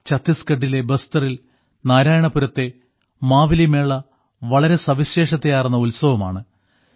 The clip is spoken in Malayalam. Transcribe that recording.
ഛത്തീസ്ഗഢിലെ ബസ്തറിൽ നാരായണപുരത്തെ മാവലി മേള വളരെ സവിശേഷതയാർന്ന ഉത്സവമാണ്